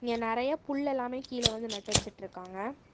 நறையா புல் எல்லாமே கீழ வந்து நட்டு வச்சிட்டிருக்காங்க.